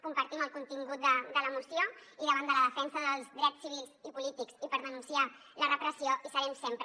compartim el contingut de la moció i davant de la defensa dels drets civils i polítics i per denunciar la repressió hi serem sempre